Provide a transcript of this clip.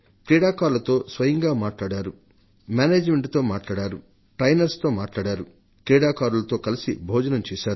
క్రీడాకారులతో కలసి భోజనం చేశారు